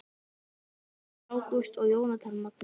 Magnús Ágúst og Jónatan Magni